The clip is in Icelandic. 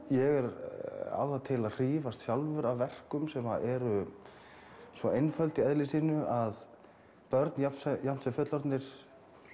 ég á það til að hrífast af verkum sem eru svo einföld í eðli sínu að börn jafnt jafnt sem fullorðnir